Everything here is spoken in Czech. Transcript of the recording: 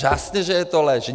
Jasně že je to lež!